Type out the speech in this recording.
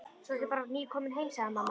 Svo ertu bara nýkomin heim sagði mamma.